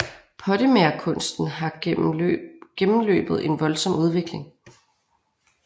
Pottemagerkunsten har gennemløbet en voldsom udvikling